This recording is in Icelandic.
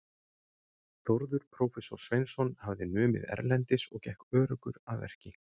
Þórður prófessor Sveinsson hafði numið erlendis og gekk öruggur að verki.